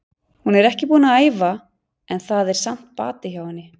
Hún er ekki búin að æfa en það er samt bati hjá henni.